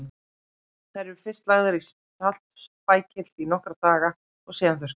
Þær eru fyrst lagðar í saltpækil í nokkra daga og síðan þurrkaðar.